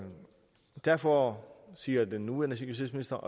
derfor siger den nuværende justitsminister